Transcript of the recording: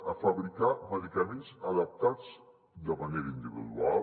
a fabricar medicaments adaptats de manera individual